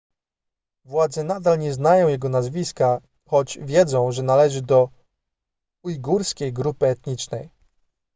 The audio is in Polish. władze nadal nie znają jego nazwiska choć wiedzą że należy do ujgurskiej grupy etnicznej